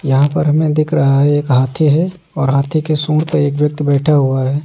यहां पर हमें दिख रहा एक हाथी है और हाथी के सूंड पर एक व्यक्ति बैठा हुआ है।